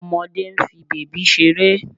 Ọmọdé ń fi bèbí ṣeré